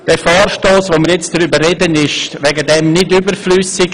Der Vorstoss, über den wir nun sprechen werden, ist deshalb nicht überflüssig.